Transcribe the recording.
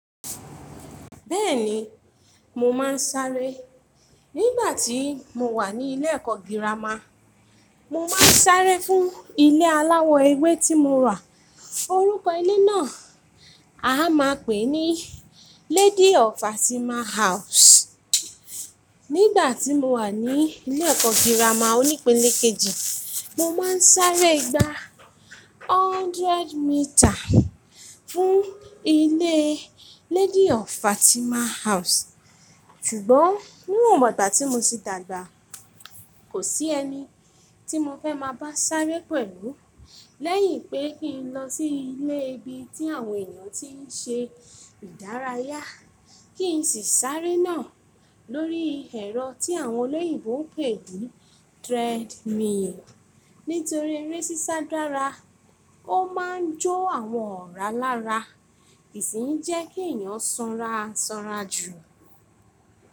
Bẹ́ẹ̀ni, mo máa ń sáré. Nígbà tí mo wà ní ilé ẹ̀kọ́ girama, mo máa ń sáré fún ilé aláwọ ewé tí mo rà. Orúkọ ilé náà a máa pè ní Lady of Fatima House. Nígbà tí mo wà ní ilé ẹ̀kọ́ girama onípele kejì, mo máa ń sáré gba hundred metre fún ilé Lady of Fatima House. Ṣùgbọ́n nínú ọ̀bàtà tí mo ti dàgbà, kò sí ẹni tí mo fẹ́ máa bá sárẹ́ pẹ̀lú lẹ́yìn pé kí n lọ sí ilé ibi tí àwọn èèyàn tí ń ṣe ìdárayá, kí n sì sáré náà lórí ẹ̀rọ tí àwọn olóyìnbo ń pè ní treadmill. Nítorí eré sísá dára, ó máa ń jó àwọn ọ̀rá lára, kì í sì ń jẹ́ kí ẹ̀yàn sanra sanra jù.